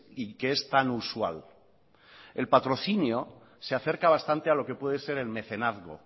y que es tan usual el patrocinio se acerca bastante a lo que puede ser el mecenazgo